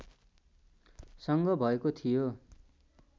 सँग भएको थियो